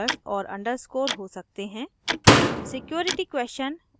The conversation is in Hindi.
इसमें letters numbers और underscore हो सकते हैं